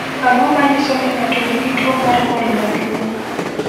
Ang’o ma nyiso ni ng’ato nigi tuwo mar ng’ol maduong’?